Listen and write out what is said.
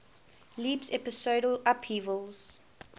leaps episodal upheavals